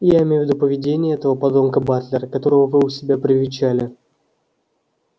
я имею в виду поведение этого подонка батлера которого вы у себя привечали